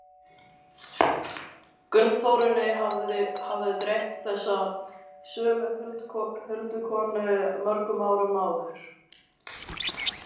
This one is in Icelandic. Gunnþórunni hafði dreymt þessa sömu huldukonu mörgum árum áður.